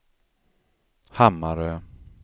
Hammarö